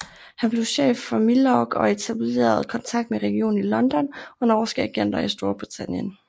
Han blev chef for Milorg og etablerede kontakt med regeringen i London og norske agenter i Storbritannien